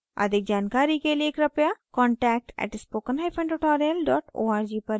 अधिक जानकारी के लिए कृपया contact @spokentutorial org पर लिखें